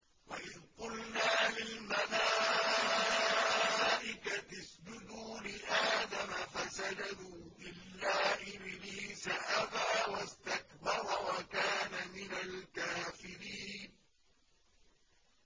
وَإِذْ قُلْنَا لِلْمَلَائِكَةِ اسْجُدُوا لِآدَمَ فَسَجَدُوا إِلَّا إِبْلِيسَ أَبَىٰ وَاسْتَكْبَرَ وَكَانَ مِنَ الْكَافِرِينَ